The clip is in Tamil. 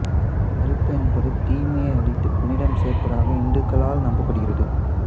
நெருப்ப்பு என்பது தீமையை அழித்து புனிதம் சேர்ப்பத்தாக இந்துக்களால் நம்பப்படுகிறது